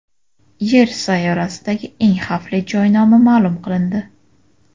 Yer sayyorasidagi eng xavfli joy nomi ma’lum qilindi.